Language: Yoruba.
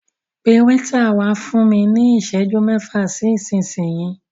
Pẹ wáítà wá fún mí ní ìsẹ́jú mẹ́fà sí ìsinyi.